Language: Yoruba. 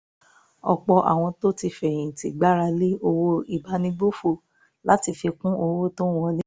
ọ̀pọ̀ àwọn tó ti fẹ̀yìn tì gbára lé owó ìbánigbófò láti fi kún owó tó ń wọlé